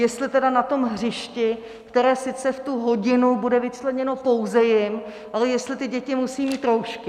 Jestli tedy na tom hřišti, které sice v tu hodinu bude vyčleněno pouze jim, ale jestli ty děti musí mít roušky.